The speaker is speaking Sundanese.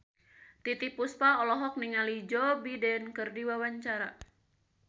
Titiek Puspa olohok ningali Joe Biden keur diwawancara